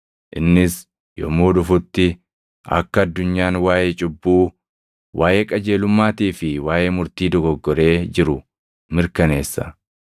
Innis yommuu dhufutti akka addunyaan waaʼee cubbuu, waaʼee qajeelummaatii fi waaʼee murtii dogoggoree jiru mirkaneessa;